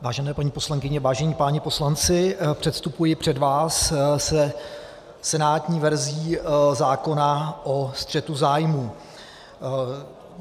Vážené paní poslankyně, vážení páni poslanci, předstupuji před vás se senátní verzí zákona o střetu zájmů.